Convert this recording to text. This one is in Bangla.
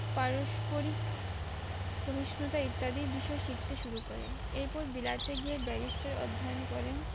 পারস্পরিক ইত্যাদির বিষয়ে শিখতে শুরু করেন এরপরে বিলাতে গিয়ে barrister অধ্যায়ন করেন